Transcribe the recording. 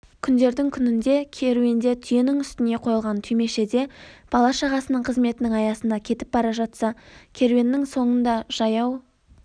күндердің-күнінде керуенде түйенің үстіне қойылған түймешеде бала-шағасының қызметінің аясында кетіп бара жатса керуеннің соңында жаяу